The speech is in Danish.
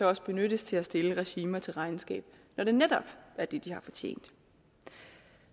også benyttes til at stille regimer til regnskab når det netop er det de har fortjent